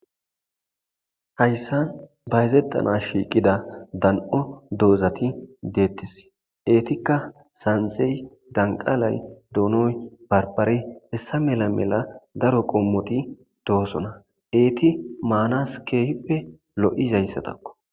hayssa bayezettana shiiqida dan7o doozati deettes eetikka sanzey danqalay doonoy barbare hessa mela mela daro qommoti dohosona eeti maanaskefppe lo7izayssatakko